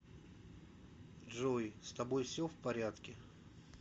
джой с тобой все в порядке